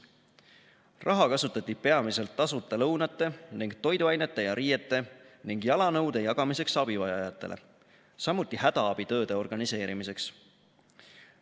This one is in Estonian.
Raha kasutati peamiselt tasuta lõunate ning toiduainete ja riiete ning jalanõude jagamiseks abivajajatele, samuti hädaabitööde organiseerimiseks.